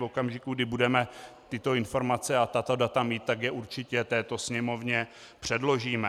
V okamžiku, kdy budeme tyto informace a tato data mít, tak je určitě této Sněmovně předložíme.